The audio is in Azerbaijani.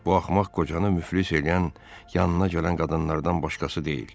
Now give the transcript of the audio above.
Bu axmaq qocanı müflis eləyən yanına gələn qadınlardan başqası deyil.